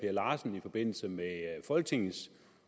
per larsen i forbindelse med folketingets